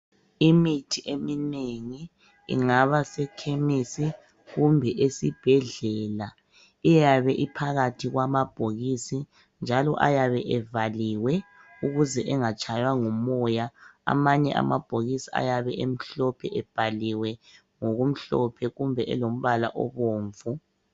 Imithi eminengi ingaba sekhemisi kumbe esibhedlela iyabe iphakathi kwamabhokisi njalo ayabe evaliwe ukuze engatshaywa ngumoya. Amanye amabhokisi ayabe emhlophe ebhaliwe ngokumhlophe kumbe elombala obomvu.